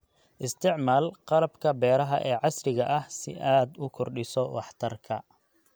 Isticmaal qalabka beeraha ee casriga ah si aad u kordhiso waxtarka.